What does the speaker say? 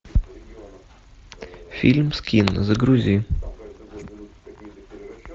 фильм скин загрузи